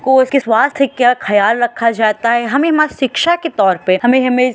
और उसके स्वास्थ का ख्याल रखा जाता है हमें मस्त शिक्षा के तौर पे हमें --